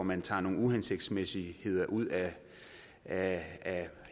man tager nogle uhensigtsmæssigheder ud af